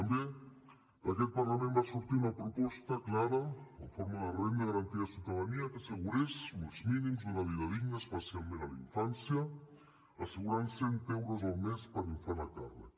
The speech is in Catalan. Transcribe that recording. també a aquest parlament va sortir una proposta clara en forma de renda garantida de ciutadania que assegurés uns mínims una vida digna especialment a la infància assegurant cent euros al mes per infant a càrrec